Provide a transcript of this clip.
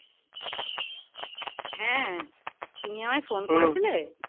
হ্যাঁ তুমি আমায় phone করেছিলে